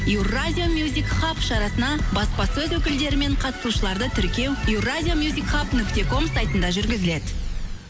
еуразия мюзик хаб шарасына баспасөз өкілдері мен қатысушыларды тіркеу еуразия мюзик хаб нүкте ком сайтында жүргізіледі